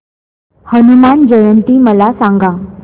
हनुमान जयंती मला सांगा